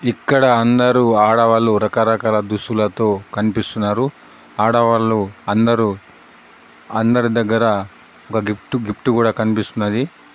ఇక్కడ అందరూ ఆడవాళ్ళు రకరకాల దుస్తులతో కనిపిస్తున్నారు. ఆడవాళ్ళు అందరూ అందరి దగ్గరా ఒక గిఫ్టు గిఫ్ట్ కూడా కనిపిస్తున్నది.